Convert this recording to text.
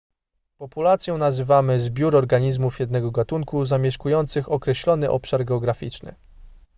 populacją nazywany zbiór organizmów jednego gatunku zamieszkujących określony obszar geograficzny